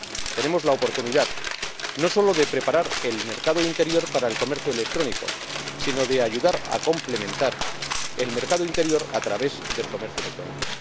Tenemos la oportunidad no solo de preparar el mercado interior para el comercio electrónico, sino de ayudar a complementar el mercado interior a través del comercio electrónico.